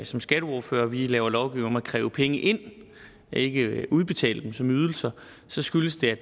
som skatteordførere vi laver lovgivning om at kræve penge ind ikke udbetale dem som ydelser så skyldes det